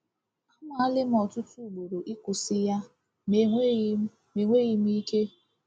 Anwale m ọtụtụ ugboro ịkwụsị ya ma enweghị m enweghị m ike.”